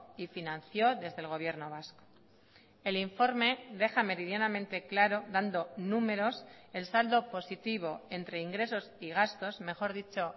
y financió desde el gobierno vasco el informe deja meridianamente claro dando números el saldo positivo entre ingresos y gastos mejor dicho